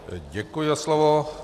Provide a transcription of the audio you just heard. Děkuji za slovo.